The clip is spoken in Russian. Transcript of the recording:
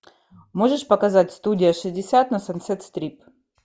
можешь показать студия шестьдесят на сансет стрит